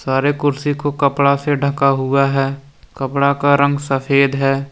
सारे कुर्सी को कपड़ा से ढका हुआ है कपड़ा का रंग सफेद है।